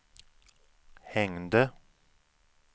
hängde